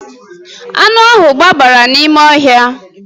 Anụ ahụ gbabara n'ime ọhịa